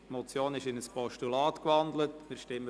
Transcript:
Die Motion ist in ein Postulat gewandelt worden.